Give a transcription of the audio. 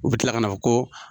U bi kila ka na fɔ ko